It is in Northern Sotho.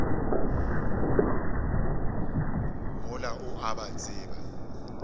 mola o a ba tseba